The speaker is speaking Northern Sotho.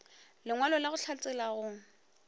lengwalo la go hlatsela go